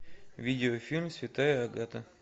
видеофильм святая агата